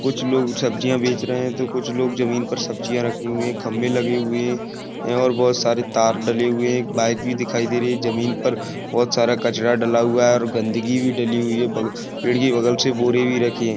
कुछ लोग सब्जिया बेच रहे हैं। तो कुछ लोग जमीन पर सब्जिया रखे हुए खम्बे लगे हुए हैं और बहुत सारे तार डले हुए एक बाइक भी दिखाई दे रही है। जमीन पर बोहोत सारा कचरा डला हुआ है और गन्दगी भी डली हुई है ब पेड़ की बगल से बोरे भी रखे हैं।